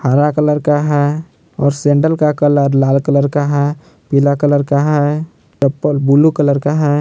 हरा कलर का है और सैंडल का कलर लाल कलर का है पीला कलर का है चप्पल ब्लू कलर का है।